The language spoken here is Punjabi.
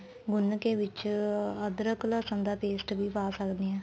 ਗੁੰਨ ਕੇ ਵਿੱਚ ਅਦਰਕ ਲਸਣ ਦਾ paste ਵੀ ਪਾ ਸਕਦੇ ਆ